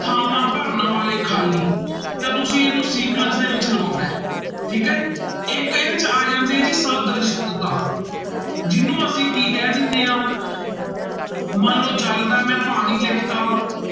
ਥਾਵਾਂ ਭਰਨ ਵਾਲੇ ਖਾਲੀ, ਤਾਂ ਤੁਸੀਂ ਇਹਨੂੰ sequence ਦੇ ਵਿੱਚ ਲਗਾਉਣਾ ਹੈ ਠੀਕ ਹੈ ਇੱਕ ਇਹਦੇ ਚ ਆ ਜਾਂਦੇ ਜੀ ਸਦ੍ਰਿਸ਼ਟਤਾ ਜਿਹਨੂੰ ਅਸੀਂ ਕੀ ਕਹਿ ਦਿੰਦੇ ਹਾਂ ਮੰਨ ਲਓ ਜਲ ਦਾ ਮੈਂ ਪਾਣੀ ਲਿਖ ਦਿੱਤਾ।